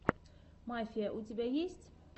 мафия у тебя есть